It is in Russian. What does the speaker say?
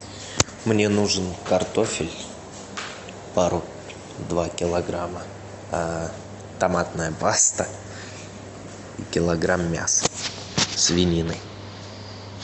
мне нужен картофель пару два килограмма томатная паста и килограмм мяса свинины